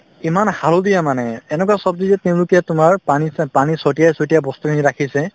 ইমান হালধীয়া মানে এনেকুৱা ছব্জি যে তেওঁলোকে তোমাৰ পানী ছাট পানী ছটিয়াই ছটিয়াই বস্তুখিনি ৰাখিছে